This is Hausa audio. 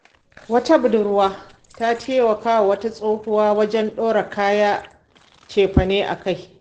Wata budurwa ta taimaka wa wata tsohuwa wajen ɗora kayan cefane a kai.